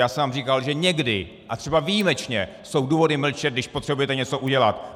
Já jsem vám říkal, že někdy - a třeba výjimečně - jsou důvody mlčet, když potřebujete něco udělat.